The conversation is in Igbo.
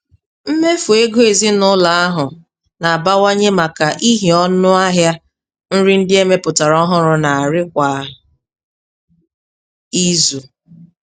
Mmefu ego ezinaụlọ ahụ na-abawanye maka ihi ọnụ ahịa nri ndị emepụtara ọhụrụ n'arị kwa izu.